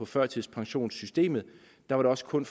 førtidspensionssystemet hvor det også kun